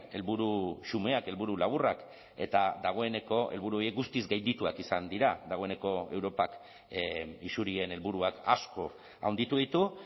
helburu xumeak helburu laburrak eta dagoeneko helburu horiek guztiz gaindituak izan dira dagoeneko europak isurien helburuak asko handitu ditu